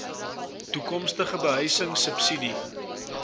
toekomstige behuising subsidie